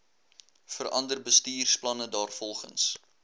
verander bestuursplanne daarvolgens